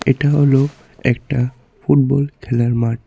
এটা হল একটা ফুটবল খেলার মাঠ।